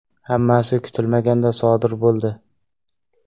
Hammasi kutilmaganda sodir bo‘ldi.